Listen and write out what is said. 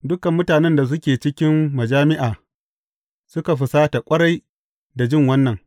Dukan mutanen da suke cikin majami’a suka fusata ƙwarai da jin wannan.